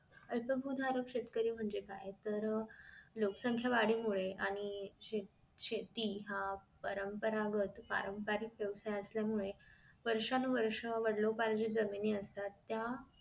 अल्प भू धारक शेतकरी म्हणजे काय तर लोक संख्या वाढीमुळे आणि शे शेती हा परंपंरागत पारंपरिक व्हावसाय असल्यामुळे वर्षानुवर्षे वडिलोपार्जीक जमिनी असतात त्या